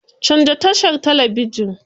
Canza tashar talabijin.